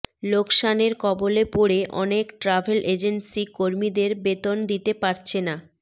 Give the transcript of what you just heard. লোকসানের কবলে পড়ে অনেক ট্রাভেল এজেন্সি কর্মীদের বেতন দিতে পারছে না